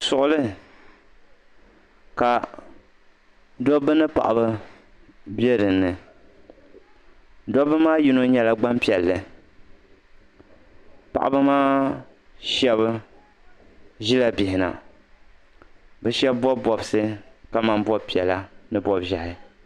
Suɣuli ka dobba ni paɣaba be dinni dobba maa yino nyɛla gbampiɛlli paɣaba maa sheba ʒila bihina bɛ sheba bobi bobsi ka man bob'piɛla ni bob'ʒehi.